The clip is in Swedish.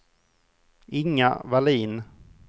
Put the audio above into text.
Inga Vallin